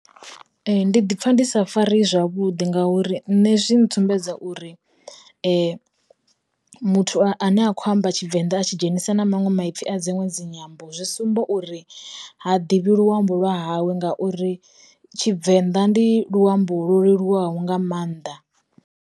Ndi ḓipfa ndisa fareyi zwavhudi ngauri nne zwi ntsumbedza uri, muthu a ne a khou amba Tshivenda a tshi dzhenisa na maṅwe maipfi a dziṅwe dzi nyambo, zwi sumba uri ha ḓivhi luambo lwa hawe ngauri Tshivenḓa ndi luambo lu leluwaho nga maanḓa.